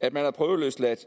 at man er prøveløsladt